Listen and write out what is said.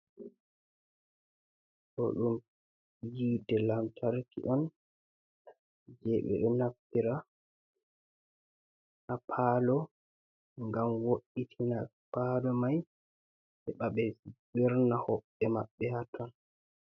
Ɗo ɗum hite lantarki on, je ɓe ɗo naftira haa palo ngam wo'itina palo mai, heɓa ɓe wirna hoɓɓe maɓɓe haa ton.